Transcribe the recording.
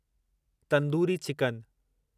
tandoori chicken